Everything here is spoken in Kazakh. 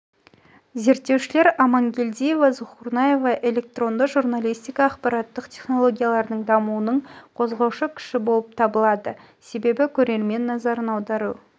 зерттеушілер амангелдиева зухурнаева электронды журналистика ақпараттық технологиялардың дамуының қозғаушы күші болып лады себебі көрермен назарын аудару